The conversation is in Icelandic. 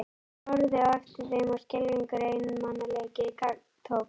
Hún horfði á eftir þeim og skelfilegur einmanaleiki gagntók hana.